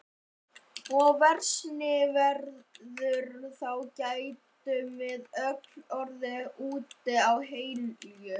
Og versni veður þá gætum við öll orðið úti á Helju.